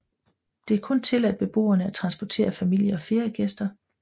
Det er kun tilladt beboerne at transportere familie og feriegæster